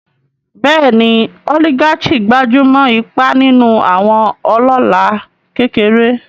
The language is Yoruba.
Bẹ́ẹ̀ni, oligarchy gbájú mọ́ ipa nínú àwọn ọlọ́lá kékeré.